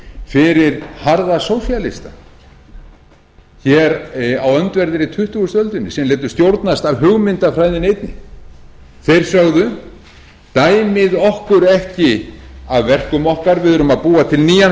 fyrir harða sósíalista hér á öndverðri tuttugustu öldinni sem létu stjórnast af hugmyndafræðinni einni þeir sögðu dæmið okkur ekki af verkum okkar við erum að búa til nýjan